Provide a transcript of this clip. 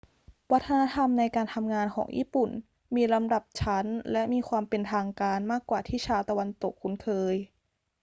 วัฒนธรรมในการทำงานของญี่ปุ่นมีลำดับชั้นและมีความเป็นทางการมากกว่าที่ชาวตะวันตกคุ้นเคย